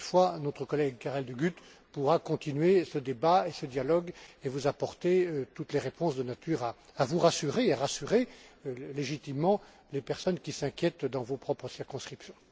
Encore une fois, notre collègue Karel De Gucht pourra poursuivre ce débat et ce dialogue et vous apporter toutes les réponses de nature à vous rassurer et à rassurer légitimement les personnes qui s'inquiètent dans vos circonscriptions.